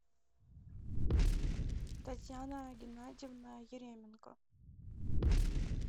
татьяна геннадьевна еременко